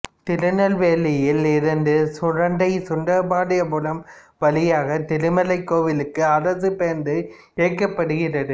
திருநெல்வேலியில் இருந்து சுரண்டை சுந்தரபாண்டியபுரம் வழியாக திருமலைக்கோவிலுக்கு அரசுப் பேருந்து இயக்கப்படுகிறது